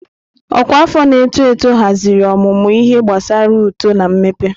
Ọkwa afọ na-eto eto haziri ọmụmụ ihe gbasara uto na mmepe.